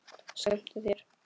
Skemmtu þér.